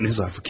Nə zərfi?